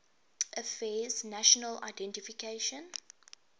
affairs national identification